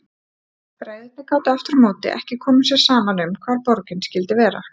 Bræðurnir gátu aftur á móti ekki komið sér saman um hvar borgin skyldi vera.